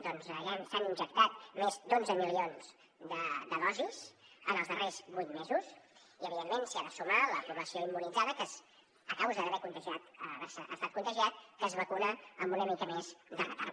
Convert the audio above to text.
ja s’han injectat més d’onze milions de dosis en els darrers vuit mesos i evidentment s’hi ha de sumar la població immunitzada a causa d’haver estat contagiat que es vacuna amb una mica més de retard